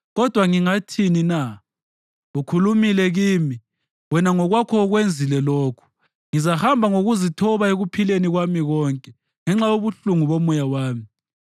Kodwa ngingathini na? Ukhulumile kimi, wena ngokwakho ukwenzile lokhu. Ngizahamba ngokuzithoba ekuphileni kwami konke ngenxa yobuhlungu bomoya wami.